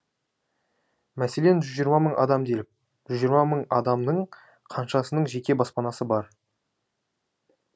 мәселен жүз жиырма мың адам делік жүз жиырма мың адамның қаншасының жеке баспанасы бар